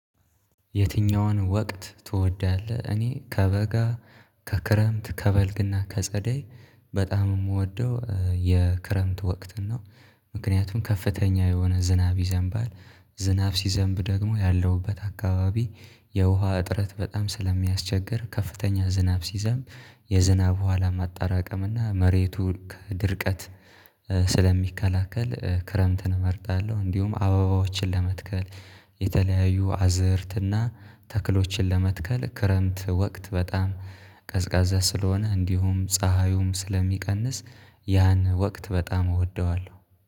የትኛውን ወቅት ትወዳለህ? እኔ ከበጋ ከክረምት ከበልግና ከጸደይ በጣም የምወደው የክረምት ወቅት ነው። ምክንያቱም ከፍተኛ የሆነ ዝናብ ይዘንባል። ዝናብ ሲዘንብ ደግሞ ያለውበት አካባቢ የውሃ እጥረት በጣም ስለሚያስቸግር ከፍተኛ ዝናብ ሲዘንብ የዝናብ ዉሃ ለማጠራቀም እና መሬቱ ከድርቀት ስለሚከላከል ክረምትን እመርጣለሁ። እንዲሁም አበባዎችን ለመትከል የተለያዩ አዝርትና ተክሎችን ለመትከል ክረምት ወቅት በጣም ቀዝቃዛ ስለሆነ እንዲሁም ፀሀዩም ስለሚቀንስ። ያን ወቅት በጣም እወደዋለሁ